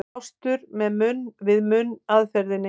Blástur með munn-við-munn aðferðinni.